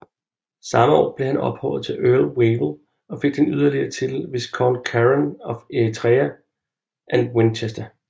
Samme år blev han ophøjet til Earl Wavell og fik den yderligere titel Viscount Keren of Eritrea and Winchester